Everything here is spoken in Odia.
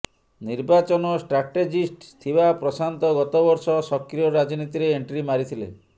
ନିର୍ବାଚନ ଷ୍ଟ୍ରାଟେଜିଷ୍ଟ ଥିବା ପ୍ରଶାନ୍ତ ଗତବର୍ଷ ସକ୍ରିୟ ରାଜନୀତିରେ ଏଣ୍ଟ୍ରି ମାରିଥିଲେ